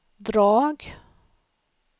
drag